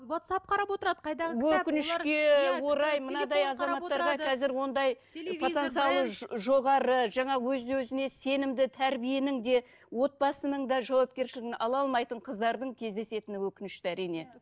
уатсап қарап отырады қайдағы кітап иә қазір ондай потенциалы жоғары жаңа өз өзіне сенімді тәрбиенің де отбасының да жауапкершілігін ала алмайтын қыздардың кездесетіні өкінішті әрине